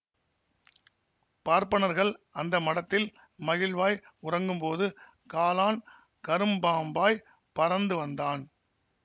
பார்ப்பனர்கள் அந்த மடத்தில் மகிழ்வாய் உறங்கும்போது காலான் கரும்பாம்பாய் பறந்து வந்தான்